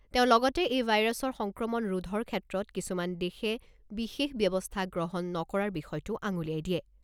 তেওঁ লগতে এই ভাইৰাছৰ সংক্ৰমণ ৰোধৰ ক্ষেত্ৰত কিছুমান দেশে বিশেষ ব্যৱস্থা গ্ৰহণ নকৰাৰ বিষয়টো আঙুলিয়াই দিয়ে।